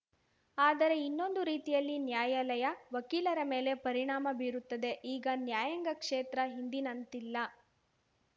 ಆದರೆ ಇನ್ನೊಂದು ರೀತಿಯಲ್ಲಿ ನ್ಯಾಯಾಲಯ ವಕೀಲರ ಮೇಲೆ ಪರಿಣಾಮ ಬೀರುತ್ತದೆ ಈಗ ನ್ಯಾಯಾಂಗ ಕ್ಷೇತ್ರ ಹಿಂದಿನಂತಿಲ್ಲ